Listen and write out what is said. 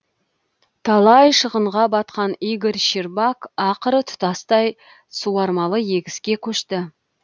талай шығынға батқан игорь щербак ақыры тұтастай суармалы егіске көшті